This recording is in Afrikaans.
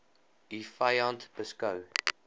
u vyand beskou